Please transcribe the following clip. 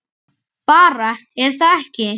Bara, er það ekki?